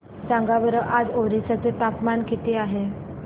सांगा बरं आज ओरिसा चे तापमान किती आहे